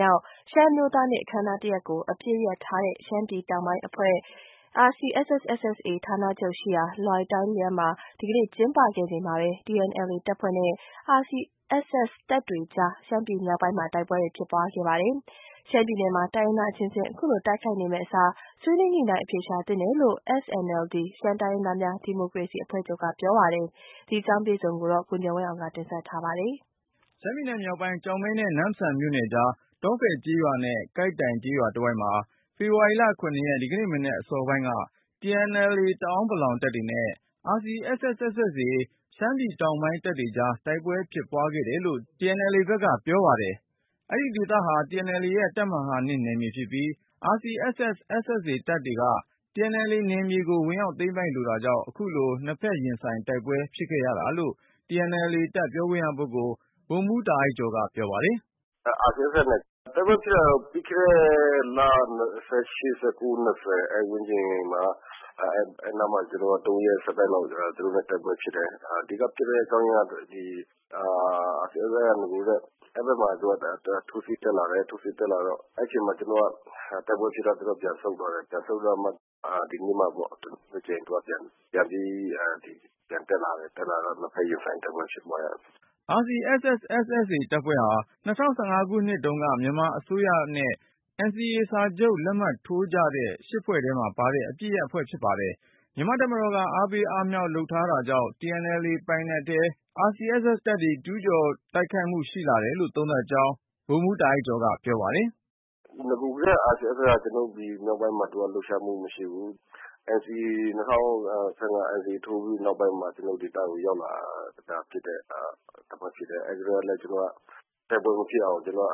မြောက် ရှမ်းအမျိုးသားနေ့ အခမ်းအနားတရပ်ကို အပစ်ရပ်ထားတဲ့ ရှမ်းပြည်တောင်ပိုင်းတပ်ဖွဲ့ RCSS/SSA ဌာနချုပ်ရှိရာ လွိုင်တိုင်းလျန်းမှာ ဒီကနေ့ ကျင်းပခဲ့ချိန်မှာပဲ TNLA တပ်ဖွဲ့နဲ့ RCSS တပ်တွေကြား ရှမ်းပြည်မြောက်ပိုင်းမှာ တိုက်ပွဲတွေဖြစ်ပွား ခဲ့ပါတယ်။ ရှမ်း ပြည်နယ်မှာ တိုင်းရင်းသားအချင်းချင်း အခုလို တိုက်ခိုက်နေမယ့်အစား ဆွေးနွေးညှိနှိုင်း အဖြေရှာသင့်တယ်လို့ SNLD ရှမ်းတိုင်းရင်းသားများ ဒီမိုကရေစီအဖွဲ့ချုပ်က ပြောပါတယ်။ ဒီအကြောင်း ကိုဉာဏ်ဝင်းအောင်က တင်ပြပါမယ်။ ရှမ်းပြည်နယ်မြောက်ပိုင်း ကျောက်မဲနဲ့ နမ့်ဆန်မြို့နယ်ကြား တောဖယ်ကျေးရွာနဲ့ ကိုက်တိုင် ကျေးရွာ တဝိုက်မှာ ဖေဖေါ်ဝါရီ ၇ ရက် မနက်အစောပိုင်းက TNLA တအန်းပလောင်တပ်တွေနဲ့ RCSS/SSA ရှမ်းပြည်တောင်ပိုင်း တပ်တွေကြား တိုက်ပွဲဖြစ်ခဲ့တယ်လို့ TNLA ဘက်က ပြောပါတယ်။ အဲဒီဒေသဟာ TNLA ရဲ့ တပ်မဟာ ၂ နယ်မြေဖြစ်ပြီး RCSS/SSA တပ်တွေက TNLA နယ်မြေကို ဝင်ရောက်သိမ်းပိုက်လိုတာကြောင့် အခုလို နှစ်ဖက် ရင်ဆိုင်တိုက်ပွဲတွေ ဖြစ်ခဲ့ရတာလို့ TNLA တပ်ပြောခွင့်ရပုဂ္ဂိုလ် ဗိုလ်မှူး တာအိုက်ကျော်က ပြောပါတယ်။ “RCSS နဲ့ တိုက်ပွဲဖြစ်တာကတော့ ပြီးခဲ့တဲ့လ ၂၈-၂၉ အဲဒီဝန်းကျင်မှာ ၃ ရက်ဆိုက်တိုက်လောက်တိုက်ပွဲဖြစ်တယ်။ အဓိကဖြစ်တဲ့အကြောင်းအရင်းကတော့ RCSSက နဂိုကတည်းက ထိုးစစ်တက်လာတယ်၊ ထိုးစစ်တက်လာတော့ အဲဒီအချိန်မှာ တိုက်ပွဲဖြစ်တော့ ပြန်ဆုတ်သွားတယ်။ ပြန်ဆုတ်သွားပြီးမှ ဒီနေ့မှ တကြိမ် ပြန်တက်လာတော့ ၂ ဖက်ရင်ဆိုက်တိုက်ပွဲ ဖြစ်တယ်။” RCSS/SSA တပ်ဖွဲ့ဟာ ၂၀၁၅ ခုနှစ်တုန်းက မြန်မာအစိုးရနဲ့ NCA စာချုပ် လက်မှတ်ထိုးကြတဲ့ ဖွဲ့ထဲမှာပါတဲ့ အပစ်ရပ်အဖွဲ့ဖြစ်ပါတယ်။ မြန်မာ့တပ်မတော်က အားပေးအားမြှောက် လုပ်ထားတာတွေကြောင့် TNLA ပိုင်နက်ထဲအထိ RCSS/SSA တပ်တွေ ကျူးကျော်တိုက်ခိုက် လာတာလို့ သုံးသပ်ကြောင်း ဗိုလ်မှူး တာအိုက်ကျော်က ပြောပါတယ်။ “နဂိုကတည်းက RCSS က ကျနော်တို့ မြောက်ပိုင်းမှာ လှုပ်ရှားမှုမရှိဘူး။ ၂၀၁၅ NCA ထိုးပြီးနောက်ပိုင်းမှာ ကျနော်တို့ ဒေသကို ရောက်လာတဲ့ တပ်ဖွဲ့ဖြစ်တယ်။ တိုက်ပွဲမဖြစ်အောင် ကျနော်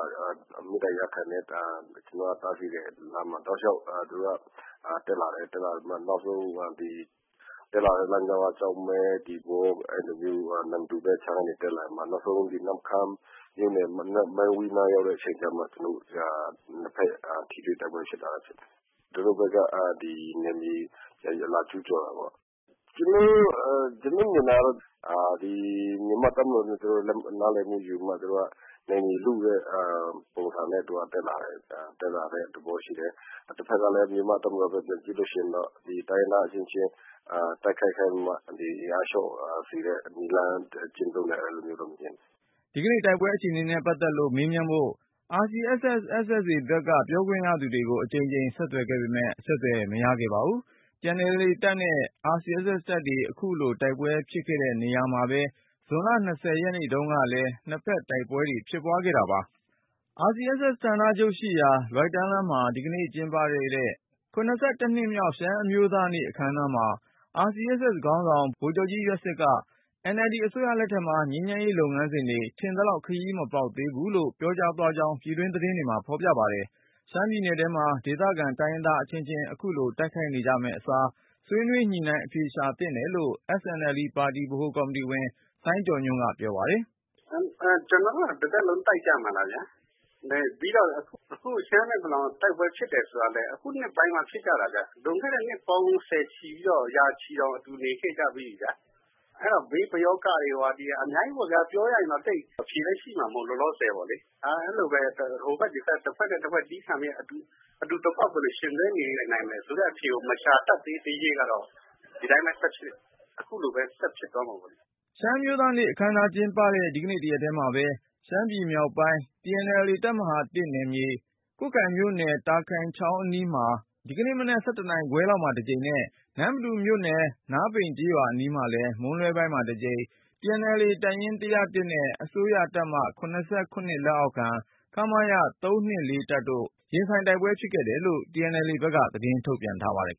တို့ မေတ္တာရပ်ခံတယ်။ ကျနော်တို့ တားဆီးတယ် လမ်းမှ တောက်လျောက်တက်လာတယ်၊ တက်လာပြီးမှ နောက်ဆုံးတက်လာတဲ့ လမ်းကြောင်းကပဲ နမ္မတူဘက်က တက်လာပြီးမှ နောက်ဆုံး နမ့်ခမ်းမြို့နယ် မန်ဝီးနားရောက်တဲ့အချိန်ကျတော့ ကျနော်တို့ ၂ ဖက်ထိတွေ့ တိုက်ပွဲဖြစ်လာတာဖြစ်တယ်။ သူတို့ဘက်က နယ်မြေ လာကျူးကျော်တာပေါ့။ ကျနော်မြင်တာကတော့ မြန်မာ့တပ်မတော်နဲ့ သူတို့ နားလည်မှုယူပြီးတော့ နယ်မြေလုတဲ့ ပုံစံနဲ့ တက်လာတဲ့ သဘောရှိတယ်။ တဖက်ကလည်း မြန်မာ့တပ်မတော်ဘက်က ပြန်ကြည့်ရင်တော့ တိုင်းရင်းသားအချင်းချင်း တိုက်ခိုက်ပြီးမှ အင်အားလျော့လာစေတဲ့ နည်းလမ်း ကျင့်သုံးတယ်လို့ မြင်တယ်။” ဒီကနေ့ တိုက်ပွဲအခြေအနေနဲ့ ပတ်သက်လို့ မေးမြန်းဖို့ RCSS/SSA ဘက်က ပြောခွင့်ရသူတွေကို အကြိမ်ကြိမ် ဆက်သွယ်ခဲ့ပေမယ့် အဆက်သွယ် မရခဲ့ပါဘူး။ TNLA တပ်နဲ့ RCSS/SSA တပ်တွေ အခုတိုက်ပွဲဖြစ်တဲ့ နေရာမှာပဲ ဇန်နဝါရီ ၂၀ ရက်နေ့တုန်းကလည်း နှစ်ဖက် တပ်တွေ တိုက်ပွဲဖြစ်ခဲ့တာပါ။ RCSS/SSA ဌာနချုပ်ရှိရာ လွိုင်တိုင်းလျန်းမှာ ဒီကနေ့ ကျင်းပခဲ့တဲ့ နှစ်မြောက် ရှမ်းအမျိုးသားနေ့ အခမ်းအနားမှာ RCSS ခေါင်းဆောင် ဗိုလ်ချုပ်ကြီးရွက်ဆစ်ကNLD အစိုးရလက်ထက်မှာ ငြိမ်းချမ်းရေး လုပ်ငန်းစဉ်တွေ ထင်သလောက် ခရီးမပေါက်သေးလို့ ပြောဆိုကြောင်း ပြည်တွင်း သတင်းတွေမှာ ဖေါ်ပြပါတယ်။ ရှမ်းပြည်နယ်ထဲမှာ ဒေသခံ တိုင်းရင်းသားအချင်းချင်း အခုလို တိုက်ခိုက်နေကြမယ့်အစား ဆွေးနွေးညှိနှိုင်း အဖြေရှာသင့်တယ်လို့ SNLD ပါတီ ဗဟိုကော်မတီဝင် စိုင်းကျော်ညွန့်က ပြောပါတယ်။ “ကျနော်တို့က တသက်လုံး တိုက်ကြမှာလည်းဗျာ ပြီးတော့ အခု ရှမ်းနဲ့ ပလောင်က တိုက်ပွဲဖြစ်တယ်ဆိုတာကလည်း အခုနှစ်ပိုင်းမှ ဖြစ်ကြတာဗျာ။ လွန်ခဲ့တဲ့ နှစ်ပေါင်း ဆယ်ချီ၊ ရာချီပြီးတော့ အတူနေလာခဲ့ကြပြီးပြီခင်ဗျ။ အဲဒီ ပယောဂ ဒီဟာတွေအများကြီးပေါ့ခင်ဗျ ။ ပြောရရင်တော့ အဖြေလည်းရှိမှာမဟုတ်ဘူး လောလောဆည်ပေါ့လေ အဲလို ဟိုဘက်ဒီဘက် တဖွဲ့နဲ့ တဖွဲ့ အတူသည်းခံပြီးတော့ အတူတကွ ဘယ်လို ယှဉ်တွဲနေထိုင်မယ် ဆိုတဲ့ အဖြေကို မရှာနိုင်သေးသရွေ့ကတော့ ဒီအတိုင်းအခုလို ဆက်ဖြစ်မှာပေါ့လေ။” ရှမ်းအမျိုးသားနေ့ အခမ်းအနားကျင်းပတဲ့ ဒီကနေ့ တရက်ထဲမှာ ရှမ်းပြည်မြောက်ပိုင်း TNLA တပ်မဟာ နယ်မြေ၊ ကွတ်ခိုင်မြို့နယ် တာခိုင် ချောင်းအနီးမှာ ဒီကနေ့မနက် ၁၁ ခွဲလောက်မှာတကြိမ်နဲ့ နမ္မတူမြို့နယ် နားပိန်ကျေးရွာအနီးမှာလည်း မွန်းလွဲပိုင်းမှာ တကြိမ် TNLA တပ်ရင်း ၁၀၁ နဲ့ အစိုးရတပ်မ ၇၇ လက်အောက်ခံ ခမရ ၃၂၄ တို့ ရင်ဆိုင်တိုက်ပွဲ ဖြစ်ခဲ့တယ်လို့ TNLA တပ်က သတင်းထုတ်ပြန် ထားပါတယ်